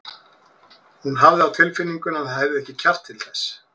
Hún hafði á tilfinningunni að hann hefði ekki kjark til þess.